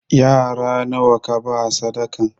Yara nawa kaba sadakan?